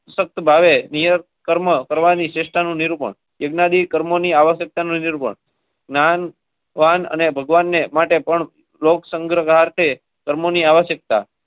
સત ભાવે. કર્મોની આવશ્યકતા. અને ભગવાનને માટે પણ લોગ સંઘાર તે કર્મોની આવશ્યકતા.